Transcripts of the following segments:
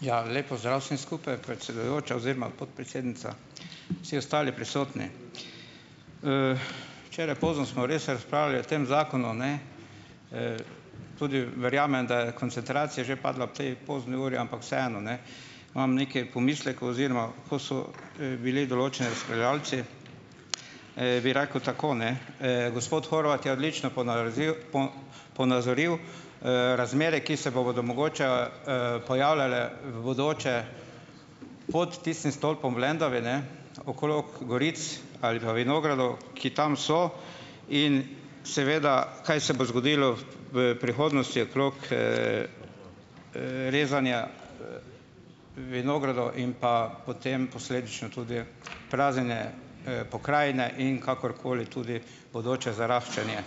Ja, lep pozdrav vsem skupaj, predsedujoča oziroma podpredsednica, vsi ostali prisotni. Včeraj pozno smo res razpravljali o tem zakonu, ne, tudi verjamem, da je koncentracija že padla ob tej pozni uri, ampak vseeno, ne, imam nekaj pomislekov, oziroma ko so, bili določeni razpravljavci, bi rekel tako, ne, gospod Horvat je odlično ponaroziv ponazoril, razmere, ki se bodo mogoče, pojavljale v bodoče pod tistim stolpom v Lendavi, ne, okrog goric ali pa vinogradov, ki tam so, in seveda, kaj se bo zgodilo v prihodnosti okrog, rezanja vinogradov in pa potem posledično tudi praznjenje, pokrajine in kakorkoli tudi bodoče zaraščanje.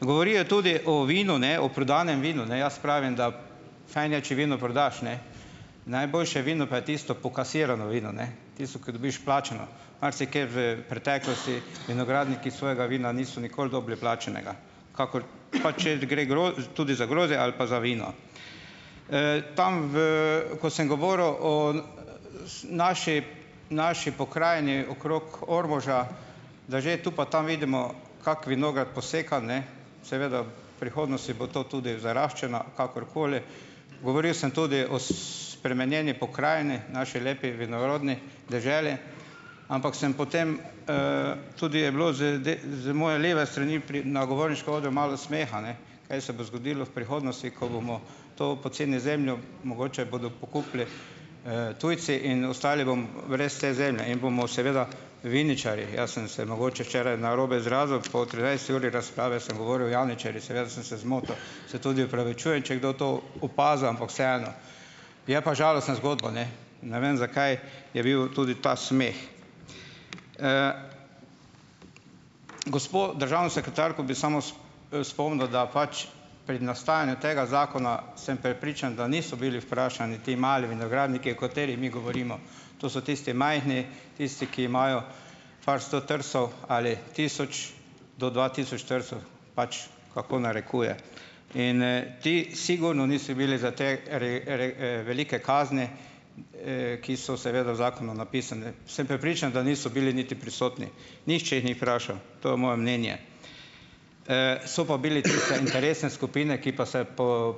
Govorijo tudi o vinu, ne, o prodanem vinu, ne. Jaz pravim, da fajn je, če vino prodaš, ne, najboljše vino pa je tisto pokasirano vino, ne, tisto, ki dobiš plačano, marsikje v preteklosti vinogradniki svojega vina niso nikoli dobili plačanega. Kakor ... Pa če gre tudi za grozdje ali pa za vino. Tam, v, ko sem govoril o, naši naši pokrajini okrog Ormoža, da že tu pa tam vidimo kak vinograd posekan, ne, seveda v prihodnosti bo to tudi zaraščeno, kakorkoli, govoril sem tudi o spremenjeni pokrajini, naši lepi vinorodni deželi, ampak sem potem, tudi je bilo z z moje leve strani na govorniškem odru malo smeha, ne, kaj se bo zgodilo v prihodnosti, ko bomo to poceni zemljo, mogoče bodo pokupili, tujci in ostali bomo brez te zemlje in bomo seveda viničarji. Jaz sem se mogoče včeraj narobe izrazil, po trinajsti uri razprave sem govoril "javničarji", seveda, da sem se zmotil. Se tudi opravičujem, če je kdo to opazil, ampak vseeno, je pa žalostna zgodba, ne. Ne vem, zakaj je bil tudi ta smeh. Gospo državno sekretarko bi samo spomnil, da pač pri nastajanju tega zakona, sem prepričan, da niso bili vprašani ti mali vinogradniki, o katerih mi govorimo. To so tisti majhni, tisti, ki imajo par sto trsov ali tisoč, do dva tisoč trsov, pač kako narekuje in, ti sigurno niso bili za te velike kazni, ki so seveda v zakonu napisane. Sem prepričan, da niso bili niti prisotni. Nihče jih ni vprašal. To je moje mnenje. So pa bile tiste interesne skupine, ki pa se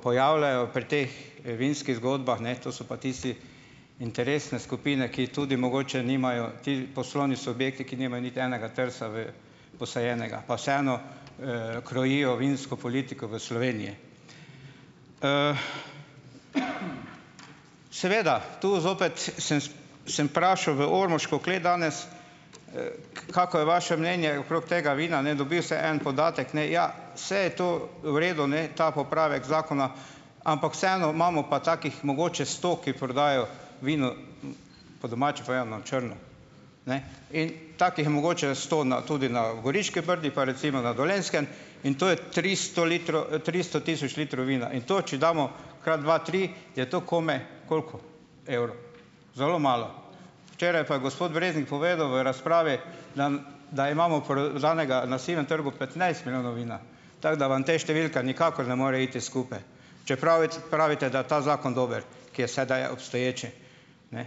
pojavljajo pri teh vinskih zgodbah, ne, to so pa tiste interesne skupine, ki tudi mogoče nimajo, ti poslovni subjekti, ki nimajo niti enega trsa v posajenega, pa vseeno, krojijo vinsko politiko v Sloveniji. Seveda, tu zopet, sem samo vprašal v Ormoško klet danes, kako je vaše mnenje okrog tega vina, ne, dobiv sem en podatek, ne: "Ja, saj je to v redu, ne, ta popravek zakona, ampak vseeno imamo pa takih mogoče sto, ki prodajajo vino, po domače povedano, na črno." Ne, in takih je mogoče sto na tudi na Goriških brdih, pa recimo na Dolenjskem, in to je tristo litrov, tristo tisoč litrov vina in to, če damo krat dva, tri, je to komaj, koliko evrov? Zelo malo. Včeraj pa je gospod Breznik povedal v razpravi, dam da imamo prodanega na sivem trgu petnajst milijonov vina, tako da vam te številke nikakor ne morejo iti skupaj, čeprav pravite, da je ta zakon dober, ki je sedaj obstoječi. Ne,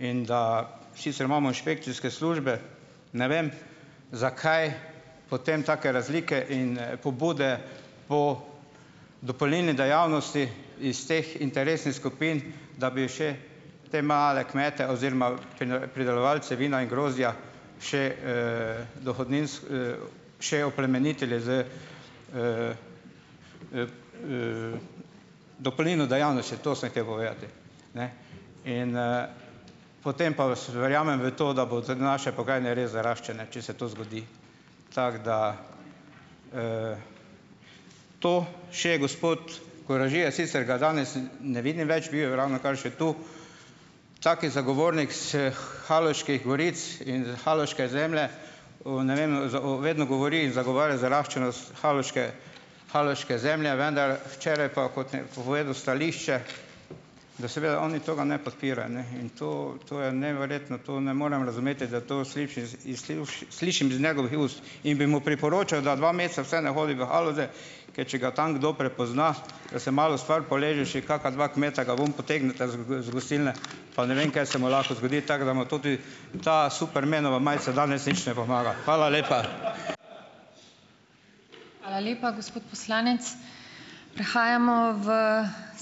in da, sicer imamo inšpekcijske službe, ne vem, zakaj potem take razlike in, pobude po dopolnilni dejavnosti iz teh interesnih skupin, da bi še te male kmete oziroma pridelovalce vina in grozdja še, še oplemenitili z, dopolnilno dejavnostjo, to sem hotel povedati. Ne. In, potem pa verjamem v to, da bodo naše pokrajine res zaraščene, če se to zgodi, tako da, to. Še gospod Koražija, sicer ga danes ne vidim več, bil je ravnokar še tu, tako je zagovornik sh Haloških goric in Haloške zemlje. O ne vem vedno govori, zagovarja zaraščenost haloške haloške zemlje, vendar včeraj pa, kot je povedal stališče, da seveda oni tega ne podpirajo, ne, in to, to je neverjetno. To ne morem razumeti, da to slišim s iz slišim z njegovih ust in bi mu priporočal, da dva meseca vseeno ne hodi v Haloze, ker če ga tam kdo prepozna, da se malo stvar poleže, še kaka dva kmeta ga ven potegneta z z gostilne, pa ne vem kaj se mu lahko zgodi, tako da mu tudi ta "Supermanova" majica danes nič ne pomaga. Hvala lepa.